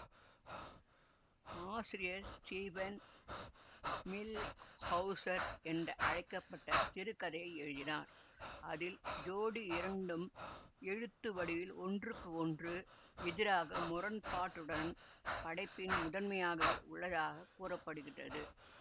ஆசிரியர் Steven Millhauser என்றழைக்க பட்ட சிறுகதையை எழுதினார் அதில் ஜோடி இரண்டும் எழுத்து வடிவில் ஒன்றுக்கு ஒன்று எதிராக முரண்பாட்டுடன் படைப்பின் முதன்மையாகவும் உள்ளதாக கூற படுகின்றது